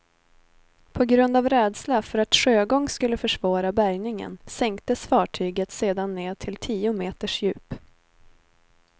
På grund av rädsla för att sjögång skulle försvåra bärgningen sänktes fartyget sedan ned till tio meters djup.